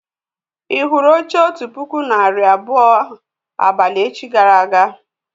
Ì hụrụ oche otu puku narị abụọ abalị echi gara aga?